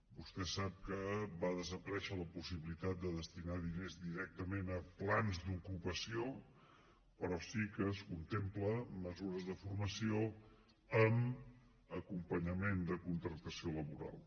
vostè sap que va desaparèixer la possibilitat de destinar diners directament a plans d’ocupació però sí que es contemplen mesures de formació amb acompanyament de contractació laboral